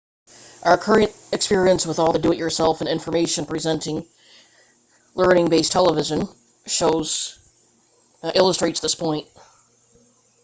our current experience with all the do-it-yourself and information presenting learning-based television shows illustrates this point